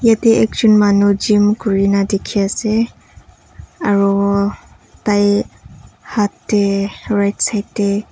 yate ekjun manu gym kurina dekhi ase arooo tai haat teh rightside teh--